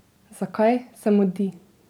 Zakaj se mudi?